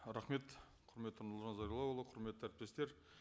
рахмет құрметті нұрлан зайроллаұлы құрметті әріптестер